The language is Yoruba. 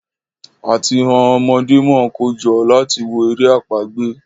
áti ọn ọmọdé món kojo láti wò èrè àpagbè